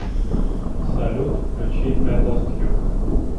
салют включи ай лост ю